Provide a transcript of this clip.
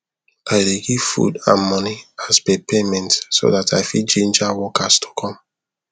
i dey give food and money as per payment so that i fit ginger workers to come